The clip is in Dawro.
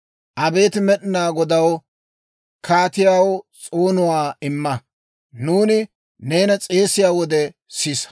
Abeet Med'inaa Godaw, kaatiyaw s'oonuwaa imma; nuuni neena s'eesiyaa wode sisa.